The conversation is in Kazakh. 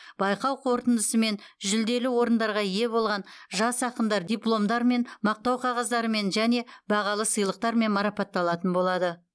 байқау қорытындысымен жүлделі орындарға ие болған жас ақындар дипломдармен мақтау қағаздарымен және бағалы сыйлықтармен марапатталатын болады